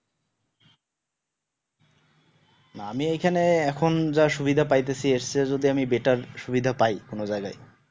না আমি এখানে এখন যা সুবিধা পাইতাছি এর চেয়ে যদি আমি better সুবিধা পায় কোনো যায়গায়